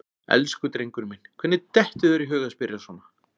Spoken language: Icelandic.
Elsku drengurinn minn, hvernig dettur þér í hug að spyrja svona!